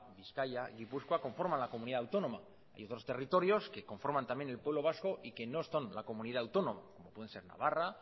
bizkaia y gipuzkoa conforman la comunidad autónoma y otros territorios que conforman también el pueblo vasco y que no están en la comunidad autónoma como pueden ser navarra